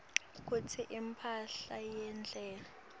kutsi imphahla yendalo